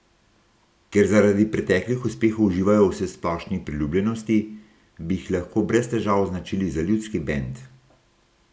Ker zaradi preteklih uspehov uživajo v vsesplošni priljubljenosti, bi jih lahko brez težav označili za ljudski bend.